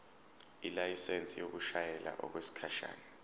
ilayisensi yokushayela okwesikhashana